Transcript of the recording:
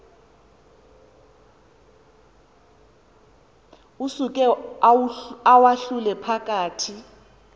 usuke uwahlule phakathi